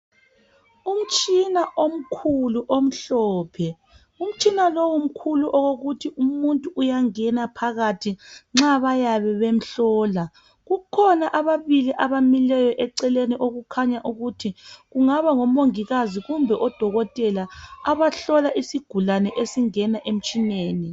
Umtshina omkuiu omhlophe. Umtshina lowu mkhulu okokuthi umuntu uyangena phakathi nxa bayabe bemhlola. Kukhona ababili abamileyo eceleni okukhanya ukuthi kungaba ngomongikazi kumbe odokotela abahlola isigulane esingena emtshineni.